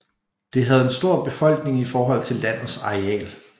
Det havde en stor befolkning i forhold til landets areal